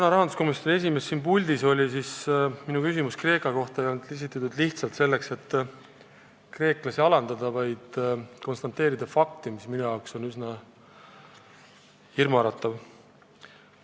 Kui rahanduskomisjoni esimees täna siin puldis oli, siis minu küsimus Kreeka kohta ei olnud esitatud selleks, et kreeklasi alandada, vaid konstateerida fakti, mis minu meelest on üsna hirmuäratav.